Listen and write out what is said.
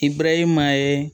I barahima ye